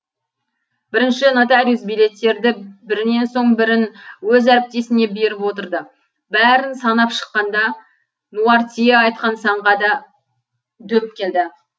бірінші нотариус билеттерді бірінен соң бірін өз әріптесіне беріп отырды бәрін санап шыққанда нуартье айтқан санға да дөп келді